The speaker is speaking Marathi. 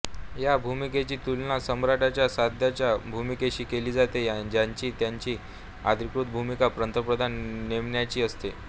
या भुमिकेची तुलना सम्राटाच्या सध्याच्या भूमिकेशी केली जाते ज्यांची त्यांची अधिकृत भूमिका पंतप्रधान नेमण्याची असते